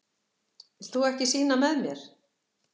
Vilt þú ekki sýna með mér?